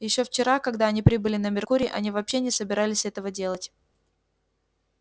ещё вчера когда они прибыли на меркурий они вообще не собирались этого делать